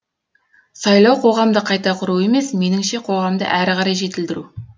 сайлау қоғамды қайта құру емес меніңше қоғамды әрі қарай жетілдіру